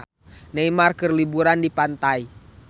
Neymar keur liburan di pantai